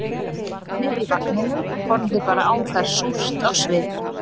Barnið í vagninum horfði bara á þær súrt á svip